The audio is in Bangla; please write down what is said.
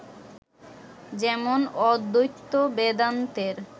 যেমন, অদ্বৈত বেদান্তের